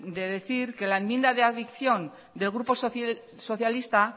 de decir que la enmienda de adición del grupo socialista